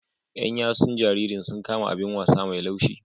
Yan yatsun jaririn sun kama abin wasa mai laushi.